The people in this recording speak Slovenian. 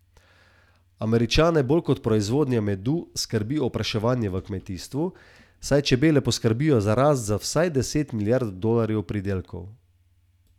Američane bolj kot proizvodnja medu skrbi opraševanje v kmetijstvu, saj čebele poskrbijo za rast za vsaj deset milijard dolarjev pridelkov.